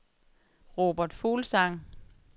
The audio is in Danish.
Robert Fuglsang